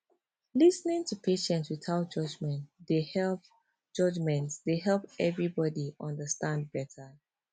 lis ten ing to patient without judgment dey help judgment dey help everybody understand better